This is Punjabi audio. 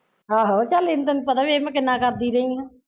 ਆਹੋ ਚੱਲ ਇਨ ਤੈਨੂ ਪਤਾ ਵੀ ਐ ਮੈਂ ਕਿੰਨਾ ਕਰਦੀ ਰਹਿ ਆ